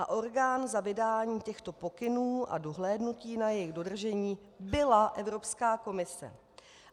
A orgán za vydání těchto pokynů a dohlédnutí na jejich dodržení byla Evropská komise.